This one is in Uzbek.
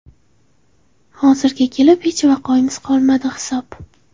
Hozirga kelib hech vaqoimiz qolmadi hisob.